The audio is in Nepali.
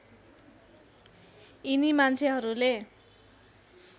यिनी मान्छेहरूले